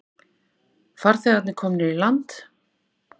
Farþegarnir komnir í land